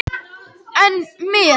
En þar með er ekki öll sagan sögð.